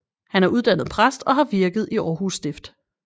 Han er uddannet præst og har virket i Århus Stift